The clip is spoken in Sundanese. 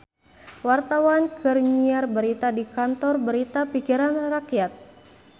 Wartawan keur nyiar berita di Kantor Berita Pikiran Rakyat